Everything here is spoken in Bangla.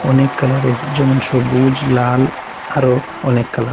অনেক কালারের যেমন- সবুজ লাল আরো অনেক কালার ।